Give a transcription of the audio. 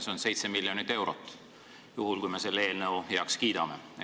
See on 7 miljonit eurot, juhul kui me selle eelnõu heaks kiidame.